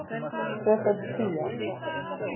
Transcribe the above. Tvöföld tía.